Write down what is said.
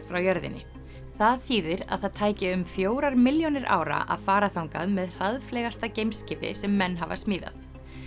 frá jörðinni það þýðir að það tæki um fjórar milljónir ára að fara þangað með geimskip i sem menn hafa smíðað